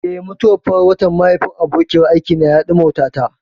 Eh, mutuwar farar watan mahaifin abokiyar aikina ya ɗimautata.